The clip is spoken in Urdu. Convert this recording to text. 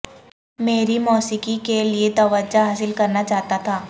میری موسیقی کے لئے توجہ حاصل کرنا چاہتا تھا